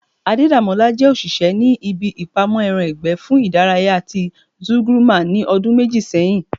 Adedamola jẹ́ òṣìṣẹ́ ní ibi ìpamọ́ ẹran ìgbẹ́ fún ìdárayá ti Zúgúrmà ní ọdún méjì sẹ́yìn